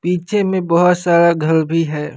पीछे में बहुत सारा घर भी है।